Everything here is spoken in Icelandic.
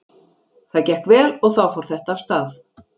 Það gekk vel og þá fór þetta af stað.